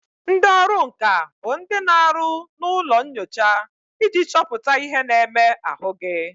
Ndị ọrụ nka bụ ndị na aru na ụlọ nyocha iji chọpụta ihe na-eme ahụ gị